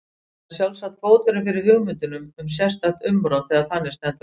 Það er sjálfsagt fóturinn fyrir hugmyndum um sérstakt umrót þegar þannig stendur á.